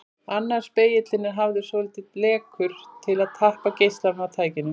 Annar spegillinn er hafður svolítið lekur til að tappa geislanum af tækinu.